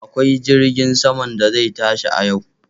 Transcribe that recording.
Akwai jirgin saman da zai tashi a yau.